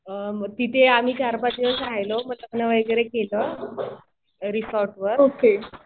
तिथे आम्ही चार-पाच दिवस राहिलो. मग लग्न वगैरे केलं रिसॉर्टवर.